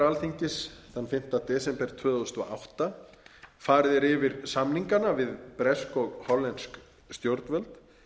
alþingis þann fimmta desember tvö þúsund og átta farið er yfir samningana við bresk og hollensk stjórnvöld